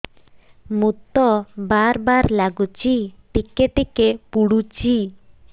ମୁତ ବାର୍ ବାର୍ ଲାଗୁଚି ଟିକେ ଟିକେ ପୁଡୁଚି